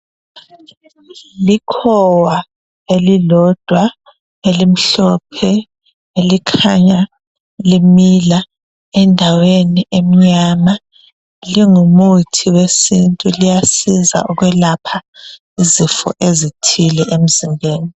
Likhowa elilodwa elimhlophe elikhanya limila endaweni emnyama. Njengomuthi wesintu liyasiza ukwelapha izifo ezithile emzimbeni.